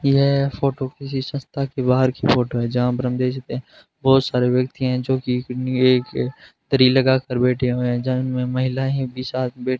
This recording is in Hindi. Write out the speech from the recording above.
यह फोटो किसी संस्था के बाहर की फोटो है जहां पर हम देख सकते हैं बहुत सारे व्यक्ति हैं जोकि किन्हीं एक तरी लगाकर बैठे हुए हैं जहां में महिलाएं भी साथ बै --